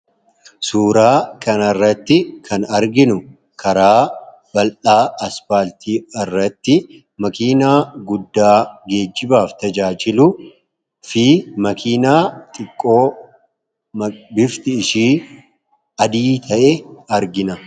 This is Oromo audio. suuraa kan irratti kan arginu karaa baldhaa aspaaltii irratti makiinaa guddaa geejibaaf tajaajiluu fi makiinaa xiqqoo bifti ishii adii ta'e argina